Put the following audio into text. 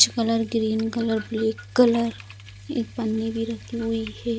Orange colour green colour black colour एक पन्नी भी रखी हुई है।